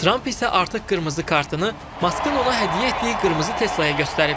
Tramp isə artıq qırmızı kartını Maskın ona hədiyyə etdiyi qırmızı Teslaya göstərib.